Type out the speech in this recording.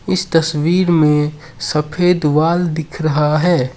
इस तस्वीर में सफेद वॉल दिख रहा है।